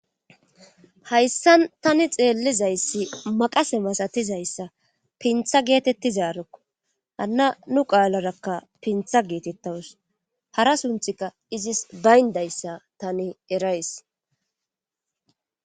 Hayssan tani xeellizayssi maqase masatizayssa pintha geetettizaarokko hanna nu qaalarakka pintha geetettawus hara sunthika izis bayndayssa tani erays.